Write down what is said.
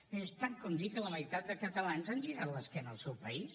miri és tant com dir que la meitat de catalans han girat l’esquena al seu país